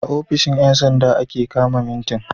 a ofishin Yan sanda ake kama mitin